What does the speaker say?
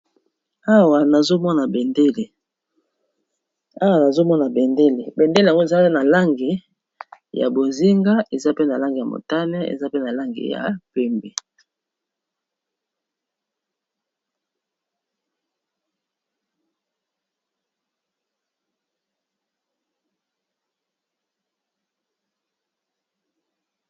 Awa nazomona bendele, bendele yango eza pe na langi ya bozinga, eza pe na langi ya motane, eza pe na langi ya pembe.